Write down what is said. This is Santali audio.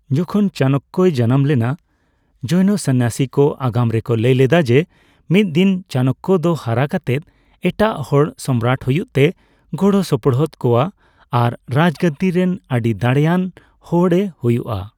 ᱡᱚᱠᱷᱚᱱ ᱪᱟᱱᱚᱠᱚᱭ ᱡᱟᱱᱟᱢ ᱞᱮᱱᱟ, ᱡᱳᱱᱚ ᱥᱚᱱᱭᱟᱥᱤ ᱠᱚ ᱟᱜᱟᱢ ᱨᱮᱠᱚ ᱞᱟᱹᱭ ᱞᱮᱫᱟ ᱡᱮ ᱢᱤᱫ ᱫᱤᱱ ᱪᱟᱱᱱᱚᱠᱚ ᱫᱚ ᱦᱟᱨᱟ ᱠᱟᱛᱮ ᱮᱴᱟᱜ ᱦᱚᱲ ᱥᱚᱢᱨᱟᱴ ᱦᱩᱭᱩᱜ ᱛᱮ ᱜᱚᱲᱚ ᱥᱚᱯᱚᱦᱚᱫ ᱠᱚᱣᱟ ᱟᱨ ᱨᱟᱡᱜᱟᱹᱫᱤ ᱨᱮᱱ ᱟᱹᱰᱤᱫᱟᱲᱮᱭᱟᱱ ᱦᱚᱲ ᱮ ᱦᱩᱭᱩᱜ ᱼᱟ ᱾